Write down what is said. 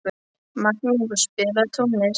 Magnús, spilaðu tónlist.